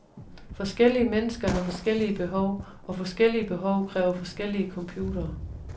Forskellige mennesker har forskellige behov, og forskellige behov kræver forskellige computere.